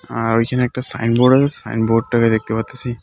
আর ওইখানে একটা sign board sign বোর্ডটাকে দেখতে পারতাসি।